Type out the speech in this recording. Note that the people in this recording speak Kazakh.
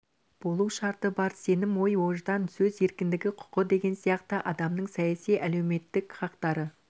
болу шарты бар сенім ой ождан сөз еркіндігі құқы деген сияқты адамның саяси әлеуметтік хақтары